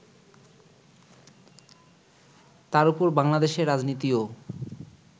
তার উপর বাংলাদেশের রাজনীতিও